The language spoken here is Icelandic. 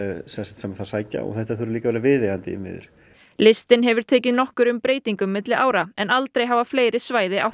sem þar sækja og þetta þurfa að vera viðeigandi innviðir listinn hefur tekið nokkrum breytingum milli ára en aldrei hafa fleiri svæði átt